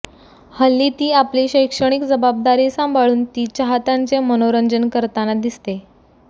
हल्ली ती आपली शैक्षणिक जबाबदारी सांभाळून ती चाहत्यांचे मनोरंजन करताना दिसते